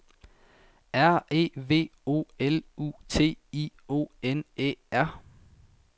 R E V O L U T I O N Æ R